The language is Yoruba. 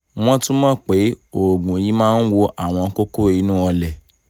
wọ́n tún mọ̀ pé oògùn yìí máa ń wo àwọn kókó inú ọlẹ̀